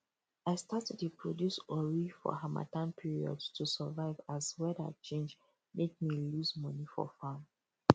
i start to dey produce ori for harmattan period to survive as weather change make me lose money for farm